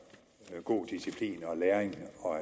god disciplin og læring og